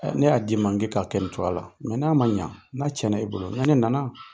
Ne y'a di i ma k'e k'a kɛ nin cogoya la n'a ma ɲɛ n'a ti e bolo ni ne nana